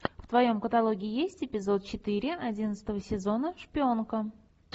в твоем каталоге есть эпизод четыре одиннадцатого сезона шпионка